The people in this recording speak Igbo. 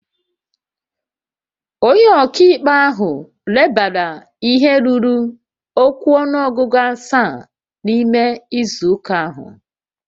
Onye ọka ikpe ahụ lebara ihe ruru okwu ọnụọgụ asaa n'ime izu ụka ahụ